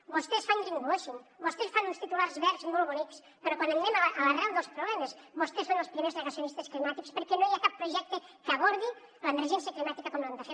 vostès fan greenwashing vostès fan uns titulars verds molt bonics però quan anem a l’arrel dels problemes vostès són els primers negacionistes climàtics perquè no hi ha cap projecte que abordi l’emergència climàtica com l’han de fer